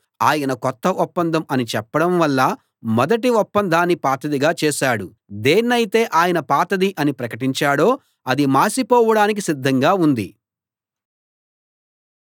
ఆయన కొత్త ఒప్పందం అని చెప్పడం వల్ల మొదటి ఒప్పందాన్ని పాతదిగా చేశాడు దేన్నైతే ఆయన పాతది అని ప్రకటించాడో అది మాసిపోవడానికి సిద్ధంగా ఉంది